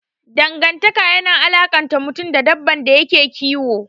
Dangantaka yana alakanta mutum da dabban da yake kiyo.